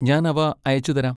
ഞാൻ അവ അയച്ചുതരാം.